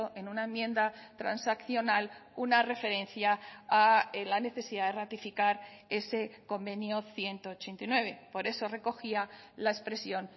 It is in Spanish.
en una enmienda transaccional una referencia a la necesidad de ratificar ese convenio ciento ochenta y nueve por eso recogía la expresión